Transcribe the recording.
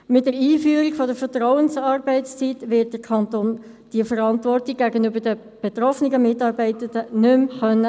Mit der Einführung der Vertrauensarbeitszeit wird der Kanton diese Verantwortung gegenüber den betroffenen Mitarbeitenden nicht mehr wahrnehmen können.